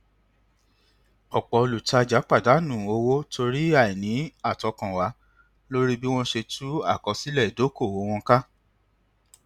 ọpọ olùtajà pàdánù owó torí àìní àtọkànwá lórí bí wọn ṣe tú àkósílẹ ìdokoowó wọn ká